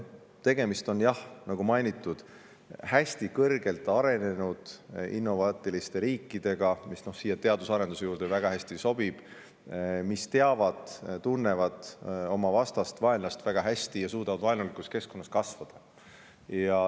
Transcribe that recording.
Tegemist on jah, nagu mainitud, hästi kõrgelt arenenud innovaatiliste riikidega – siia teaduse ja arenduse teema juurde see sobib väga hästi –, nad teavad ja tunnevad oma vastast, vaenlast väga hästi ja suudavad vaenulikus keskkonnas kasvada.